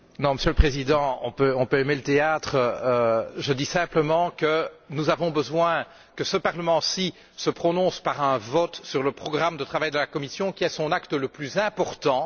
Monsieur le Président, on peut certes aimer le théâtre, mais je dis simplement que nous avons besoin que ce Parlement se prononce, par un vote, sur le programme de travail de la Commission, qui est son acte le plus important.